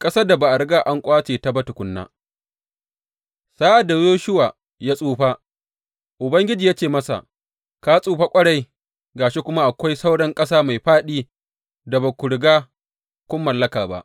Ƙasar da ba a riga an ƙwace ba tukuna Sa’ad da Yoshuwa ya tsufa, Ubangiji ya ce masa, Ka tsufa ƙwarai, ga shi kuma akwai sauran ƙasa mai fāɗi da ba ku riga kun mallaka ba.